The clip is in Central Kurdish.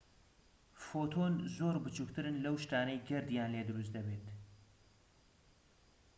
فۆتۆن زۆر بچوکترن لەو شتانەی گەردیان لێ دروست دەبێت